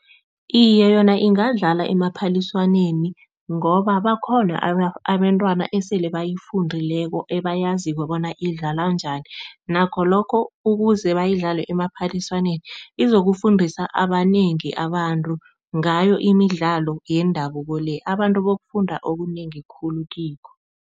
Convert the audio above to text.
Iye, yona ingadlalwa emaphaliswaneni ngoba bakhona abentwana esele bayifundileko abayaziko bona idlalwa njani. Nakho lokho ukuze bayidlale emaphaliswaneni izokufundisa abanengi abantu ngayo imidlalo yendabuko le, abantu yokufunda okunengi khulu kikho.